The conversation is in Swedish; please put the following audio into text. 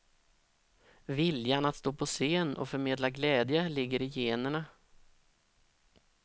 Viljan att stå på scen och förmedla glädje ligger i generna.